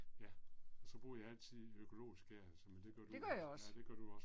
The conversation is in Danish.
Ja. Og så bruger jeg altid økologisk gær så men det gør du vel, ja det gør du også